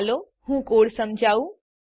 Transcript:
ચાલો હું કોડ સમજાવું